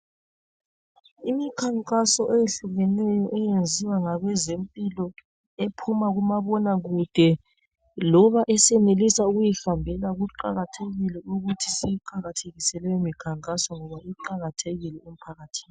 Imikhankaso eyehlukeneyo eyenziwa ngabezempilo ephuma kumabonakude loba esenelisa ukuyihambela kuqakathekile ukuthi siyiqakathekise leyo mikhankaso ngoba iqakathekile emphakathini.